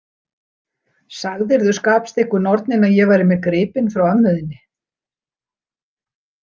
Sagðirðu skapstyggu norninni að ég væri með gripinn frá ömmu þinni?